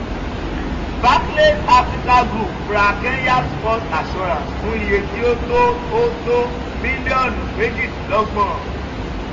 barclays africa group ra kenya's first assurance fún iye tí ó tó ó tó mílíọ̀nù méjìdínlọ́gbọ̀n.